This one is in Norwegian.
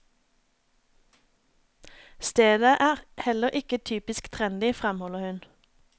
Stedet er heller ikke typisk trendy, fremholder hun.